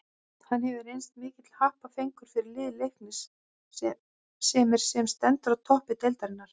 Hann hefur reynst mikill happafengur fyrir lið Leiknis sem er sem stendur á toppi deildarinnar.